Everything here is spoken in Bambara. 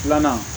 Filanan